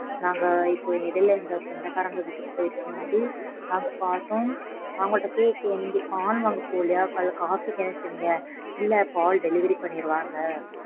நாங்க இப்போ இடைல எங்க சொந்தகாரங்க வீட்டுக்கு போயிருக்கும் போது நாங்க பார்த்தோம். அவங்கட்ட கேட்டோம் நீங்க பால் வாங்க போலையா? Coffee க்கு என்ன செய்வீங்க? இல்ல பால் delivery பண்ணிடுவாங்க.